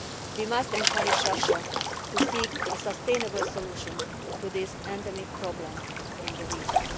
us. We must encourage Russia to seek a sustainable solution to this endemic problem in the region.